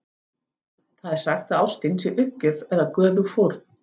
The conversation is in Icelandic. Það er sagt að ástin sé uppgjöf eða göfug fórn.